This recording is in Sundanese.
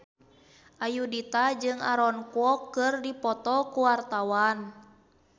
Ayudhita jeung Aaron Kwok keur dipoto ku wartawan